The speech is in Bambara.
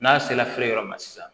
N'a sera feere yɔrɔ ma sisan